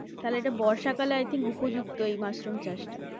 তাহলে এইটা বর্ষাকালে i think উপযুক্ত এই মাশরুম চাষটা।